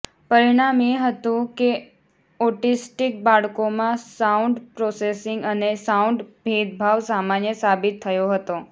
પરિણામ એ હતું કે ઓટીસ્ટીક બાળકોમાં સાઉન્ડ પ્રોસેસિંગ અને સાઉન્ડ ભેદભાવ સામાન્ય સાબિત થયો હતો